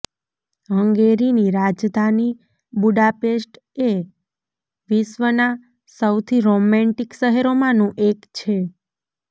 હંગેરીની રાજધાની બુડાપેસ્ટ એ વિશ્વના સૌથી રોમેન્ટિક શહેરોમાંનું એક છે